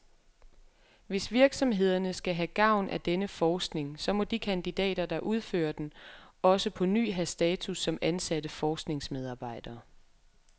Hvis virksomhederne skal have gavn af denne forskning, så må de kandidater, der udfører den, også på ny have status som ansatte forskningsmedarbejdere.